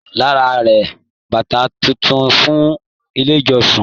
Lára rà bàtà títún fún ilé ìjọsìn.